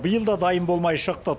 биыл да дайын болмай шықты